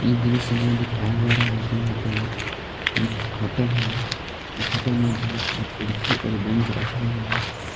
इस दृश्य में दिखाया जा रहा है की यहां पे एक होटल है इस होटल में बहुत सारा कुर्सी और बेंच रखा हुआ है।